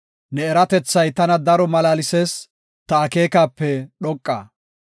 Ne eratethay tana daro malaalsees; ta akeekape dhoqa.